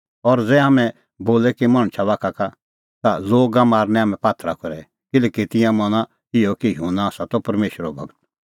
और ज़ै हाम्हैं बोले कि मणछा बाखा का ता लोगा मारनै हाम्हैं पात्थरा करै किल्हैकि तिंयां मना इहअ कि युहन्ना आसा त परमेशरो गूर